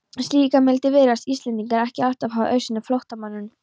Slíka mildi virðast Íslendingar ekki alltaf hafa auðsýnt flóttamönnum.